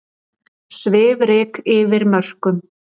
Svifryk yfir mörkum